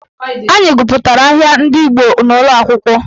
Anyị gụpụtara ahịa ndị Igbo n'ụlọakwụkwọ